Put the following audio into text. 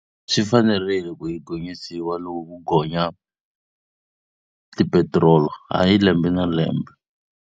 Swi fanerile ku yi gonyisiwa loko ku gonya tipetiroli, hayi lembe na lembe.